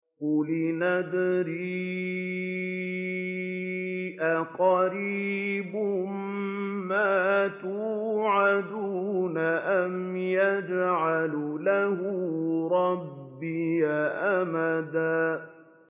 قُلْ إِنْ أَدْرِي أَقَرِيبٌ مَّا تُوعَدُونَ أَمْ يَجْعَلُ لَهُ رَبِّي أَمَدًا